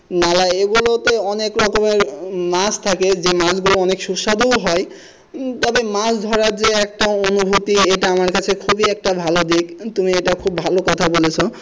নালায় এগুলো তো অনেক রকমের মাছ থাকে যে মাছগুলো অনেক সুস্বাদু হয় তবে মাছ ধরার যে একটা অনুভূতি এটা আমার কাছে খুবই একটা ভালো দিক তুমি এইটা খুব ভালো কথা বলেছো।